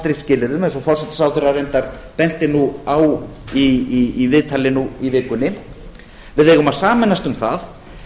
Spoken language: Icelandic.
skilyrðum eins og forsætisráðherra reyndar benti nú á í viðtali nú í vikunni við eigum að sameinast um það